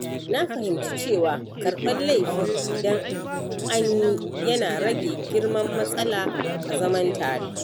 Na fahimci cewa karbar laifi idan anyi yana rage girman matsala a zaman tare